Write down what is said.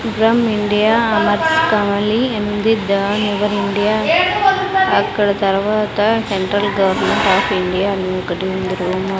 India only in the the your India అక్కడ తర్వాత central government of India అని ఒకటి ఉంది రూము .